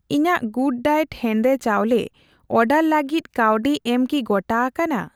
ᱤᱧᱟᱜ ᱜᱩᱰᱰᱟᱭᱮᱴ ᱦᱮᱸᱫᱮ ᱪᱟᱣᱞᱮ ᱚᱰᱟᱨ ᱞᱟᱜᱤᱫ ᱠᱟᱹᱣᱰᱤ ᱮᱢ ᱠᱤ ᱜᱚᱴᱟ ᱟᱠᱟᱱᱟ ?